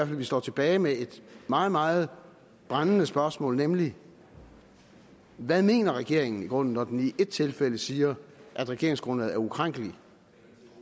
vi står tilbage med et meget meget brændende spørgsmål nemlig hvad mener regeringen i grunden når den i et tilfælde siger at regeringsgrundlaget er ukrænkeligt